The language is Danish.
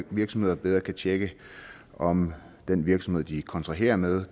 virksomheder bedre kan tjekke om den virksomhed de kontraherer med